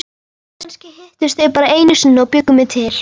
Kannski hittust þau bara einu sinni og bjuggu mig til.